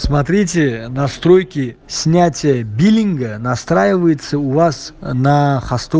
смотрите настройки снятия биллинга настраивается у вас на хасту